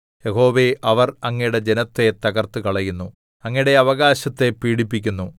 യഹോവേ അവർ അങ്ങയുടെ ജനത്തെ തകർത്തുകളയുന്നു അങ്ങയുടെ അവകാശത്തെ പീഡിപ്പിക്കുന്നു